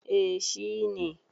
eh shi ne